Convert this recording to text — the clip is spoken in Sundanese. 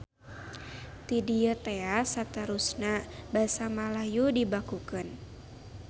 Ti dieu tea saterusna Basa Malayu dibakukeun.